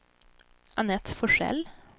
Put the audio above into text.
Anette Forsell